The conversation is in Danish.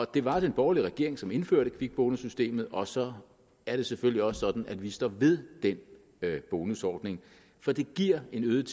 det var den borgerlige regering som indførte kvikbonussystemet og så er det selvfølgelig også sådan at vi står ved den bonusordning for det giver en øget